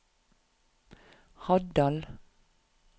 Haddal